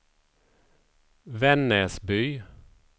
Vännäsby